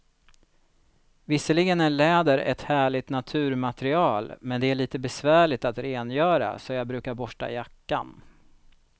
Visserligen är läder ett härligt naturmaterial, men det är lite besvärligt att rengöra, så jag brukar borsta jackan.